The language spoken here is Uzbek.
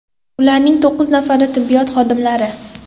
Ularning to‘qqiz nafari tibbiyot xodimlari.